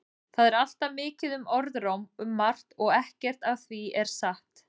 Það er alltaf mikið um orðróm um margt og ekkert af því er satt.